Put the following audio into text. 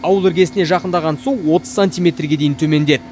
ауыл іргесіне жақындаған су отыз сантиметрге дейін төмендеді